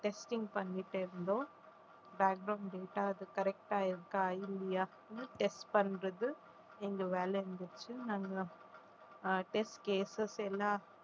testing பண்ணிட்டிருந்தோம் data அது correct ஆஹ் இருக்கா இல்லையா test பண்றது எங்க வேலை இருந்துச்சு நாங்க அஹ் test cases எல்லாம்